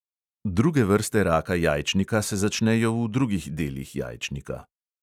Druge vrste raka jajčnika se začnejo v drugih delih jajčnika.